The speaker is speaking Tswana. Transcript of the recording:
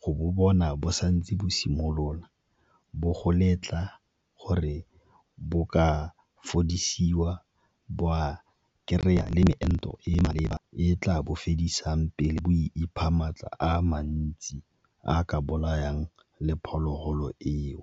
go bo bona bo sa ntse bo simolola, bo letla gore bo ka fedisiwa bo ka kry-a meento e maleba e tla bo fodisang pele bo ipha maatla a mantsi a a ka bolayang le phologolo eo.